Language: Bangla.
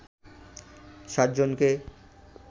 ৬০ জনকে